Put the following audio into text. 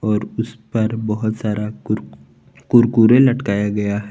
और उस पर बहोत सारा कुर कुरकुरे लटकाया गया है।